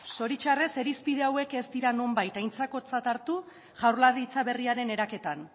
zoritxarrez irizpide hauek ez dira nonbait aintzakotzat hartu jaurlaritza berriaren eraketan